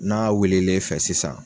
N'a wilil'i fɛ sisan